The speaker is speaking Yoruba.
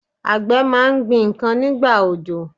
Àgbẹ̀ máa gbin ǹkan nígbà òjò.